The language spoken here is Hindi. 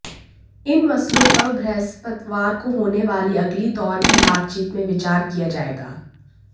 इन मसलों पर बृहस्पतिवार को होने वाली अगले दौर की बातचीत में विचार किया जाएगा